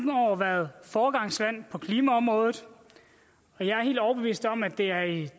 år været foregangsland på klimaområdet og jeg er helt overbevist om at det er i